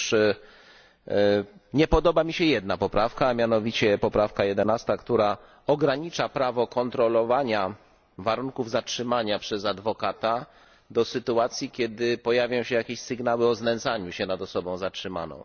Otóż nie podoba mi się jedna poprawka, a mianowicie poprawka 11, która ogranicza prawo kontrolowania warunków zatrzymania przez adwokata do sytuacji, kiedy pojawią się jakieś sygnały o znęcaniu się nad osobą zatrzymaną.